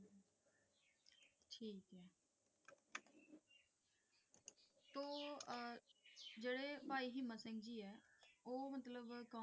ਤੇ ਭਾਈ ਹਿੰਮਤ ਸਿੰਘ ਜੀ ਐ ਉਹ ਮਤਲਬ ਕੌਣ